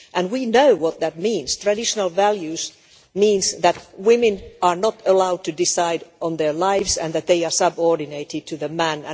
We know what that means traditional values' means that women are not allowed to decide on their lives and that they are subordinated to men.